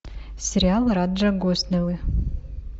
сериал раджа госнелла